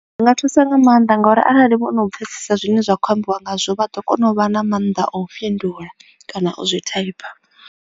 Zwi nga thusa nga maanḓa ngori arali vhona u pfhesesa zwine zwa khou ambiwa ngazwo vha ḓo kona u vha na mannḓa o fhindula kana u zwi thaipha.